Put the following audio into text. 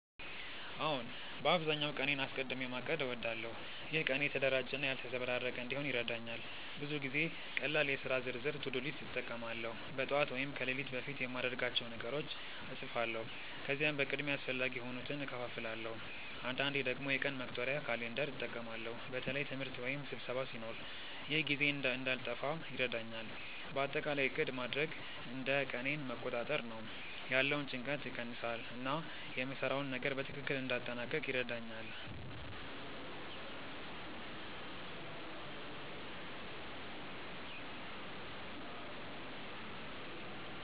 አዎን፣ በአብዛኛው ቀኔን አስቀድሚ ማቀድ እወዳለሁ። ይህ ቀኔን የተደራጀ እና ያልተዘበራረቀ እንዲሆን ይረዳኛል። ብዙ ጊዜ ቀላል የሥራ ዝርዝር (to-do list) እጠቀማለሁ። በጠዋት ወይም ከሌሊት በፊት የማድርጋቸውን ነገሮች እጻፋለሁ፣ ከዚያም በቅድሚያ አስፈላጊ የሆኑትን እከፋፍላለሁ። አንዳንዴ ደግሞ የቀን መቁጠሪያ (calendar) እጠቀማለሁ በተለይ ትምህርት ወይም ስብሰባ ሲኖር። ይህ ጊዜዬን እንዳልጠፋ ይረዳኛል። በአጠቃላይ ዕቅድ ማድረግ እንደ ቀኔን መቆጣጠር ነው፤ ያለውን ጭንቀት ይቀንሳል እና የምሰራውን ነገር በትክክል እንዲያጠናቅቅ ይረዳኛል።